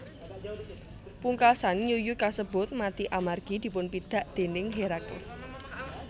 Pungkasan yuyu kasebut mati amargi dipunpidak déning Herakles